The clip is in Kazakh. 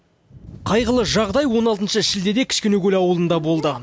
қайғылы жағдай он алтыншы шілдеде кішкенекөл ауылында болды